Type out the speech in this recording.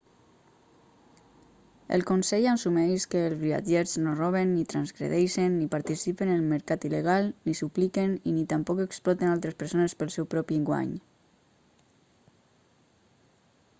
el consell assumeix que els viatgers no roben ni transgredeixen ni participen en el mercat il·legal ni supliquen i ni tampoc exploten altres persones pel seu propi guany